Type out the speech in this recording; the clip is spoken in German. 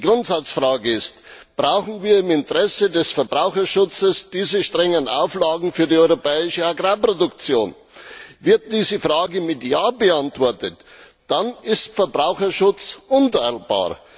Grundsatzfrage ist Brauchen wir im Interesse des Verbraucherschutzes diese strengen Auflagen für die europäische Agrarproduktion? Wird diese Frage mit Ja beantwortet, dann ist Verbraucherschutz unteilbar.